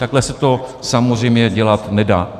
Takhle se to samozřejmě dělat nedá.